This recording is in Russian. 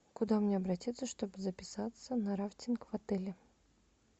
куда мне обратиться чтобы записаться на рафтинг в отеле